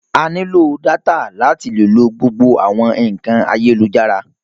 A ní lò data láti lè lo gbogbo àwọn ìkànì ayélujára.